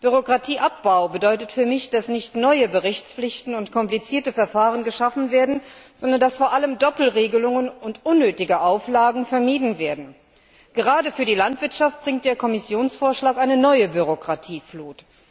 Bürokratieabbbau bedeutet für mich, dass nicht neue Berichtspflichten und komplizierte Verfahren geschaffen werden, sondern dass vor allem Doppelregelungen und unnötige Auflagen vermieden werden. Gerade für die Landwirtschaft bringt der Kommissionsvorschlag eine neue Bürokratieflut.